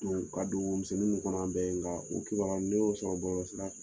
ka don wo misɛninw ninnu kɔnɔ bɛ ye nka u kibaruya ne y'o bɔlɔlɔ sira